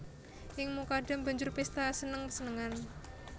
Ing Mukadam banjur pésta seneng senengan